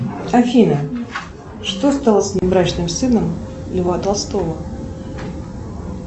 афина что стало с внебрачным сыном льва толстого